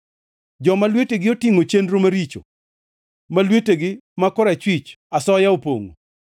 joma lwetegi otingʼo chenro maricho ma lwetegi ma korachwich asoya opongʼo.